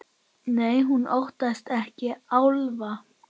Nei, hún óttast ekki álfa.